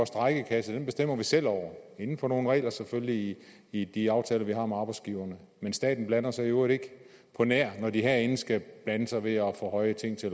strejkekasse bestemmer vi selv over inden for nogle regler selvfølgelig i de aftaler vi har med arbejdsgiverne men staten blander sig i øvrigt ikke undtagen når de herinde skal blande sig ved at ophøje ting til